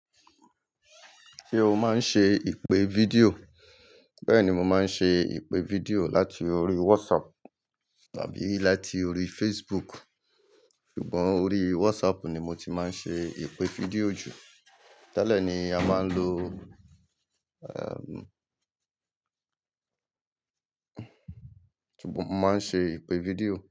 Ṣé o máa ń ṣe ìpè fídíò? Bẹ́ẹ̀ni, mo máa ń ṣe ìpè fídíò láti orí WhatsApp tàbí láti orí Facebook. Ṣùgbọ́n orí WhatsApp ni mo ti máa ń ṣe ìpè fídíò jù. Tẹ́lẹ̀ ni a máa ń lo, um, mo máa ń ṣe ìpè fídíò.